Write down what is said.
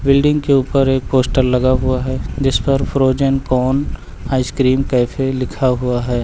Building के ऊपर एक पोस्टर लगा हुआ है जिस पर फ्रोजन कोन आइसक्रीम कैफे लिखा हुआ है।